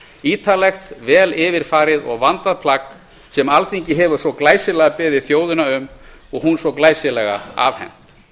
ítarlegt vel yfir farið og vandað plagg sem alþingi hefur svo glæsilega beðið þjóðina um og hún svo glæsilega afhent